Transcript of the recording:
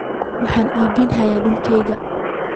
Waxaan iibinayaa dhulkayga.